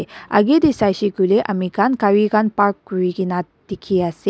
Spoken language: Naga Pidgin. Age te sai se koile ame khan gari khan park kori kina dekhi ase.